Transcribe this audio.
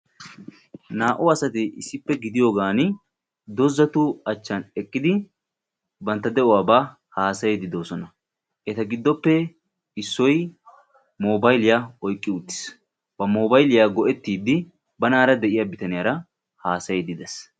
Naa'u asatti issippe gididdi doozzattu hachan eqqiddi haasayosonna. Hagettuppe issoy mobaylliya oyqqi uttiis.